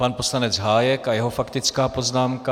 Pan poslanec Hájek a jeho faktická poznámka.